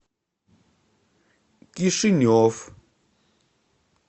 кишинев